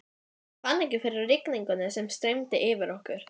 Hún er því góður mælikvarði á siðferðilega gott samband.